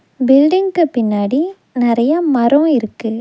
பில்டிங்க்கு பின்னாடி நெறையா மரோ இருக்கு.